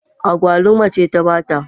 Agwaluma ce ta ba ta.